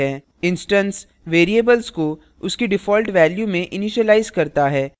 instance variables को उसकी default value में इनिशिलाइज करता है